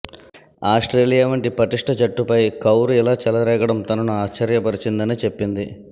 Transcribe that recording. Australia వంటి పటిష్ట జట్టుపై కౌర్ ఇలా చెలరేగడం తనను ఆశ్చర్య పరిచిందని చెప్పింది